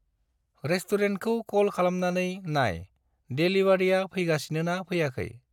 रेस्तुरेन्तखौ कल खालामनानै नाय देलिवारिया फैगासिनो ना फैयाखै।